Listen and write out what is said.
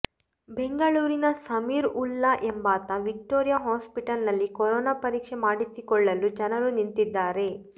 ಬೆಂಗಳೂರಿನ ಸಮೀರ್ ವುಲ್ಲಾ ಎಂಬಾತ Victoria hospital ನಲ್ಲಿ ಕೊರೊನಾ ಪರೀಕ್ಷೆ ಮಾಡಿಸಿಕೊಳ್ಳಲು ಜನರು ನಿಂತಿದ್ದಾರೆ